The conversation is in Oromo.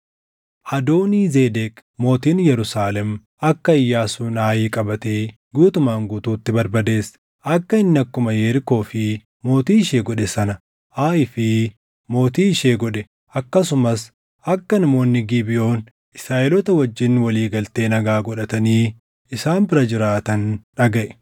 Adoonii-Zedeq Mootiin Yerusaalem akka Iyyaasuun Aayin qabatee guutumaan guutuutti barbadeesse, akka inni akkuma Yerikoo fi mootii ishee godhe sana Aayii fi Mootii ishee godhe, akkasumas akka namoonni Gibeʼoon Israaʼeloota wajjin walii galtee nagaa godhatanii isaan bira jiraatan dhagaʼe.